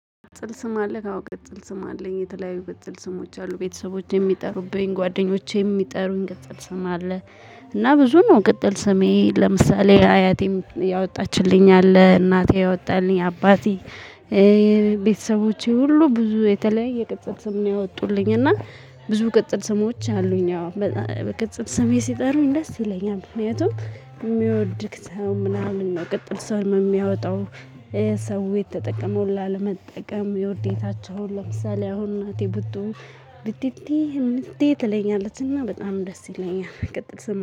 ቅጽል ስም አለክ አዎ ቅጽል ስም አለኝ የተለያዩ ቅጽል ስሞች አሉ ቤተሰቦቼ የሚጠሩብኝ ጓደኞቼ የሚጠሩኝ ቅጽል ስም አለ። እና ብዙ ነው። ቅጽል ስሜ ለምሳሌ አያቴም ያወጣችልኝ አለ እናቴ ያወጣልኝ አባቴ። ቤተሰቦቼ ሁሉ ብዙ የተለያየ ቅጽል ስም ነው ያወጡልኝ እና ብዙ ቅጽል ስሞች አሉኝ። አዎ በቅጽል ስሜ ሲጠሩኝ ደስ ይለኛል። ምክንያቱም የሚወድክ ሰው ምናምን ነው። ቅጽል ሰው የሚያወጣው። የሰው የተጠቀመው ላለመጠቀም የውዴታቸውን ለምሳሌ አሁን እናቴ ቡጡ ቢቲቲ እምቲ ትለኛለችና በጣም ደስ ይለኛል። ቀጽል ስም